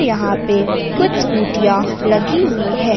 यहां पे कुछ स्कूटियाँ लगी हुई है।